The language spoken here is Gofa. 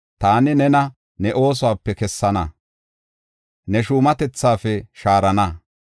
Taani nena ne oosuwape kessana; ne shuumatethaafe shaarana.